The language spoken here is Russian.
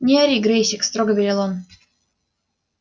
не ори грэйсик строго велел он